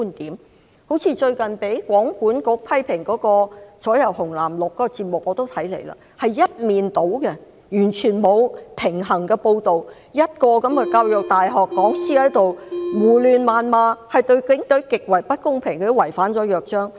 好像我也曾收看最近被通訊事務管理局批評的節目"左右紅藍綠"，是一面倒的，完全沒有平衡的報道，一位教育大學的講師在胡亂謾罵，對警隊極為不公平，這已經違反了《約章》。